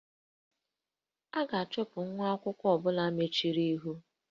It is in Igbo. A ga-achụpụ nwa akwụkwọ ọ bụla mejọrọ ihe